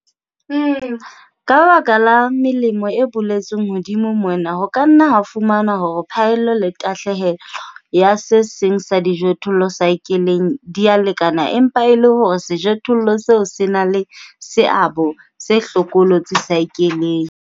Ka baka la melemo e boletsweng hodimo mona, ho ka nna ha fumanwa hore phaello le tahlehelo ya se seng sa dijothollo saekeleng di a lekana, empa e le hore sejothollo seo se na le seabo se hlokolosi saekeleng.